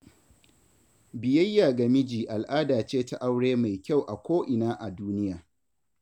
Biyayya ga miji al'ada ce ta aure mai kyau a ko ina a duniya.